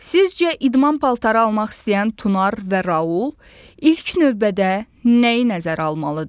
Sizcə idman paltarı almaq istəyən Tunar və Raul ilk növbədə nəyi nəzərə almalıdır?